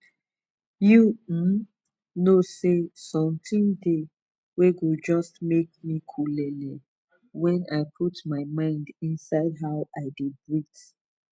u hmn know say son tin de wen go jus make me colleelee wen i put my mind inside how i de breath